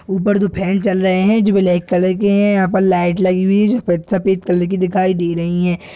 ऊपर दो फेन चल रहे हैं जो ब्लैक कलर के हैं यहाँ पर लाइट लगी हुई है जो सफे सफेद कलर की दिखाई दे रहीं है।